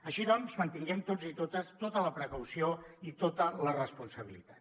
així doncs mantinguem tots i totes tota la precaució i tota la responsabilitat